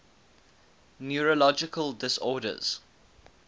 neurological disorders